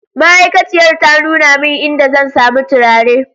Ma'aikaciyar ta nuna min idan zan sami turare